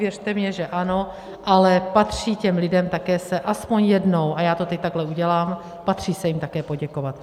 Věřte mně, že ano, ale patří těm lidem také se aspoň jednou, a já to teď takhle udělám, patří se jim také poděkovat.